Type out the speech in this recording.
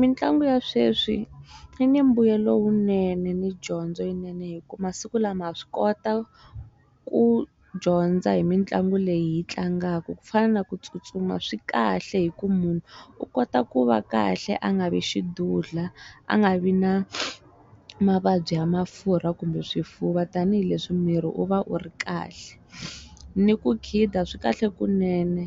Mintlangu ya sweswi i ni mbuyelo lowunene ni dyondzo yinene hi ku masiku lama ha swi kota ku dyondza hi mitlangu leyi hi tlangaka ku fana na ku tsutsuma swi kahle hi ku munhu u kota ku va kahle a nga vi xidudlha a nga vi na mavabyi ya mafurha kumbe swifuva tanihileswi miri u va u ri kahle ni ku khida swi kahle kunene